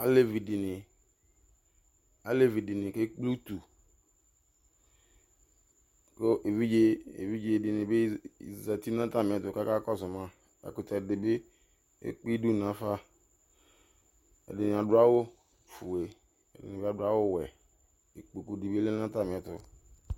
Alevidini kekple utu ku evidzedini bi zati nu atamiɛtu kakɔsu ma ɛkutɛ di bi ekpe idu nafa ɛdini adu awu fue ɛdini adu awu wuɛ kezati nu atamiɛtu